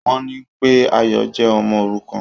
Wọ́n ní pé Ayọ̀ jẹ́ Ọmọ òrukàn.